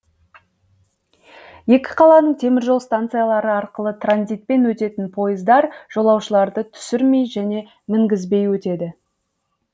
екі қаланың теміржол станциялары арқылы транзитпен өтетін пойыздар жолаушыларды түсірмей және мінгізбей өтеді